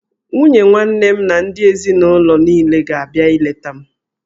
Nwunye nwanne m na ndị ezinaụlọ niile ga-abịa ileta m